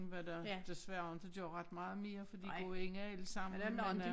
Hvad der desværre inte gør ret meget mere fordi går ind alle sammen men øh